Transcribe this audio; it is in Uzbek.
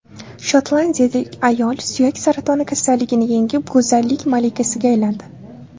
Shotlandiyalik ayol suyak saratoni kasalligini yengib, go‘zallik malikasiga aylandi.